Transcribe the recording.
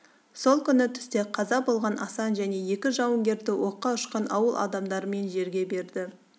сол күні түсте қаза болған асан және екі жауынгерді оққа ұшқан ауыл адамдарымен жерге берді